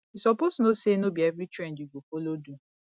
you suppose know say no be every trend you go follow do